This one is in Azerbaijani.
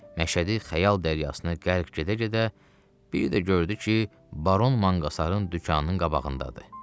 Məşədi xəyal dəryasına qərq gedə-gedə bir də gördü ki, Baron manqasarın dükanının qabağındadır.